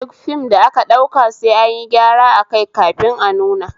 Duk fim da aka ɗauka sai ayin gyara akai kafin a nuna